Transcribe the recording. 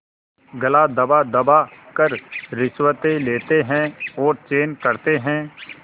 गला दबादबा कर रिश्वतें लेते हैं और चैन करते हैं